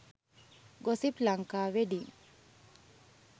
gossip lanka wedding